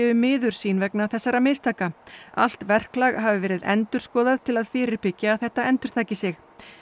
miður sín vegna þessara mistaka allt verklag hafi verið endurskoðað til að fyrirbyggja að þetta endurtaki sig